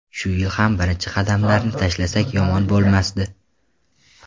Shu yil ham birinchi qadamlarni tashlasak yomon bo‘lmasdi.